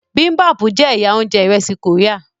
bibimpap jẹ ẹyà oúnjẹ iresi Korea.